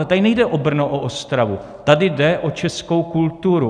A tady nejde o Brno, o Ostravu, tady jde o českou kulturu.